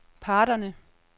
parterne